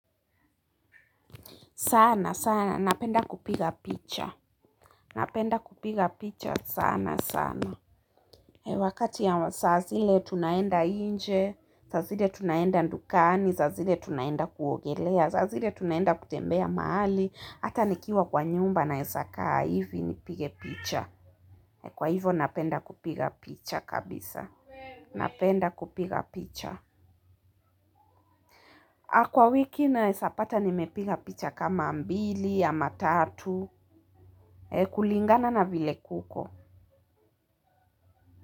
Sana, sana. Napenda kupiga picha. Napenda kupiga picha sana, sana. Wakati ama saa zile tunaenda nje. Saa zile tunaenda dukani. Saa zile tunaenda kuogelea. Saa zile tunaenda kutembea mahali. Hata nikiwa kwa nyumba naeza kaa hivi nipige picha. Kwa hivo napenda kupiga picha kabisa. Napenda kupiga picha. Kwa wiki naeza pata nimepiga picha kama mbili ama tatu. Kulingana na vile kuko.